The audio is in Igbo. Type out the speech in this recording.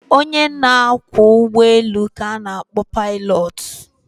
Onye na-akwọ ụgbọelu ka na-akpọ paịlọtụ.